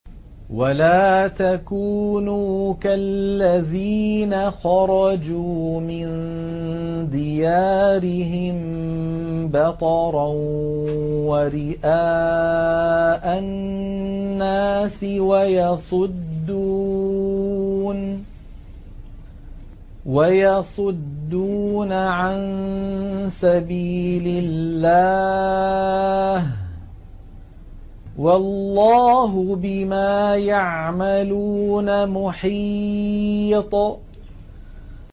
وَلَا تَكُونُوا كَالَّذِينَ خَرَجُوا مِن دِيَارِهِم بَطَرًا وَرِئَاءَ النَّاسِ وَيَصُدُّونَ عَن سَبِيلِ اللَّهِ ۚ وَاللَّهُ بِمَا يَعْمَلُونَ مُحِيطٌ